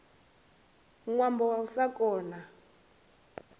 ṅwambo wa u sa kona